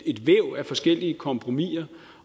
et væv af forskellige kompromiser